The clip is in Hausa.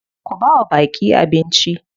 Ku bawa baƙi abnici.